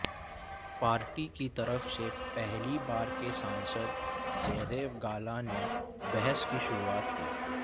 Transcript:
party की तरफ से पहली बार के सांसद जयदेव गाला ने बहस की शुरुआत की